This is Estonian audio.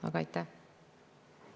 Aga mida te loodate selle uuringuga saada?